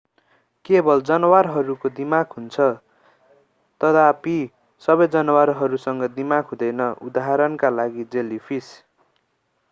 केवल जनावरहरूको दिमाग हुन्छ तथापि सबै जनावरहरूसँग दिमाग हुँदैन; उदाहरणका लागि जेलिफिस।